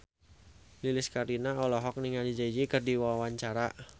Lilis Karlina olohok ningali Jay Z keur diwawancara